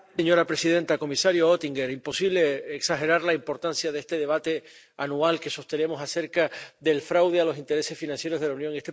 Señora presidenta, comisario Oettinger, imposible exagerar la importancia de este debate anual que sostenemos acerca del fraude a los intereses financieros de la Unión.